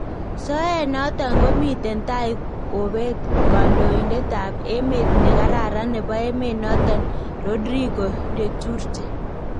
Soyeet noton komiten tai kobeet kandoindetab emeet nekararan nebo emeet noton Rodrigo Duterte